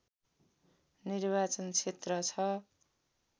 निर्वाचन क्षेत्र छ